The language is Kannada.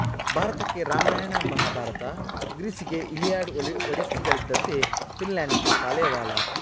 ಭಾರತಕ್ಕೆ ರಾಮಾಯಣ ಮಹಾಭಾರತ ಗ್ರೀಸಿಗೆ ಇಲಿಯಡ್ ಒಡಿಸ್ಸಿಗಳೆಂದ್ದಂತೆ ಫಿನ್ಲೆಂಡಿಗೆ ಕಾಲೇವಾಲಾ